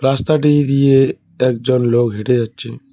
রাস্তাটি দিয়ে একজন লোক হেঁটে যাচ্ছে।